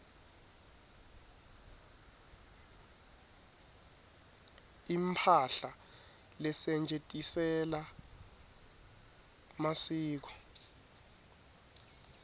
imphahla lesetjentisela masiko